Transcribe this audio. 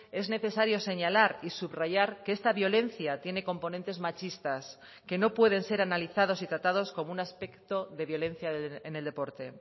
es necesario señalar y subrayar que esta violencia tiene componentes machistas que no pueden ser analizados y tratados como un aspecto de violencia en el deporte